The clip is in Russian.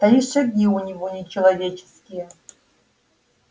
да и шаги у него не человеческие